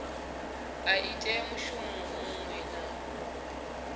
a ite mushumo muṅwe na